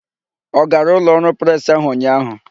Ọ gara ụlọọrụ presị ahụ ụnyaahụ?